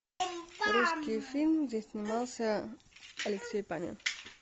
русские фильмы где снимался алексей панин